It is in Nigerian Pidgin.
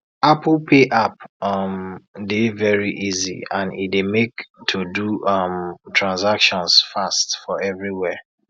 apple pay app um dey very easy and e dey make to do um transactions fast for everywhere